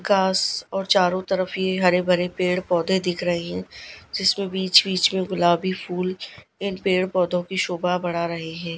कास और चारों तरफ ये हरे भरे पेड़ पौधे दिख रही है जिसमें बीच बीच में गुलाबी फूल पेड़ पौधों की शोभा बढ़ा रहे हैं।